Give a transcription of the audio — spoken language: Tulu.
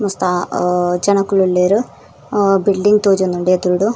ಮಸ್ತ ಅಹ್ ಜನೊಕುಲುಲ್ಲೆರ್ ಅಹ್ ಬಿಲ್ಡಿಂಗ್ ತೋಜುಂಡು ಎದುರುಡು.